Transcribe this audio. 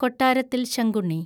Kottarathil Sankunni